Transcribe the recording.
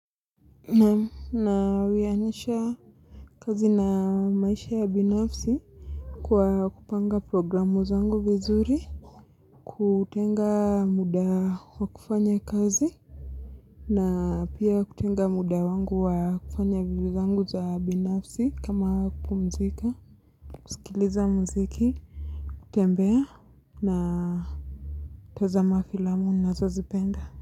Nawianisha kazi na maisha ya binafsi kwa kupanga programu zangu vizuri, kutenga muda wa kufanya kazi na pia kutenga muda wangu wa kufanya vitu zangu za binafsi kama kupumzika, kusikiliza muziki, kutembea na kutazama filamu ninazozipenda.